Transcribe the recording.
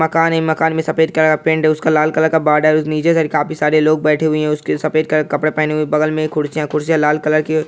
मकान है मकान में सफेद कलर पेंट है उसका लाल कलर का बॉर्डर नीचे सारे काफी सारे लोग बैठे हुए हैं उसके सफेद कपड़े पहने हुए बगल में कुर्सियां कुर्सियां लाल कलर की --